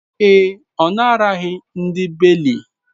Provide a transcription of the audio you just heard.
Ee e, ọ naraghị ndị beiley